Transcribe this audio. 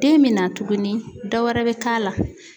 Den be na tuguni dɔ wɛrɛ be k'a la.